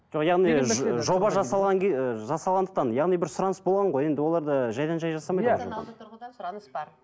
жоқ яғни жоба жасалған ы жасалғандықтан яғни бір сұраныс болған ғой енді олар да жайдан жай жасамайды ғой тұрғыдан сұраныс бар